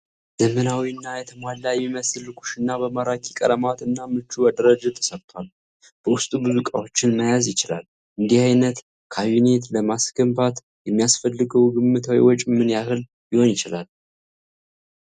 ዘመናዊና የተሟላ የሚመስል ኩሽና በማራኪ ቀለማት እና ምቹ አደረጃጀት ተሰርቷል፤ በውስጡ ብዙ ዕቃዎችን መያዝ ይችላል? እንደዚህ አይነት ካቢኔት ለማስገባት የሚያስፈልገው ግምታዊ ወጪ ምን ያህል ሊሆን ይችላል?